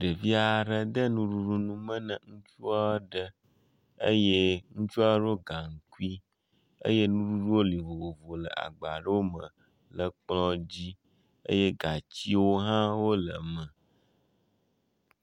Ɖevia aɖe de nuɖuɖu nume na ŋutsua aɖe eye ŋutsua ɖɔ gaŋkui eye nuɖuɖuwo li vovovo le agba ɖewo me le kplɔa dzi eye gatsiwo hã wole me.